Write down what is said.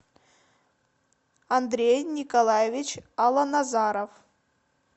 андрей николаевич аланазаров